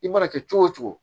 I mana kɛ cogo o cogo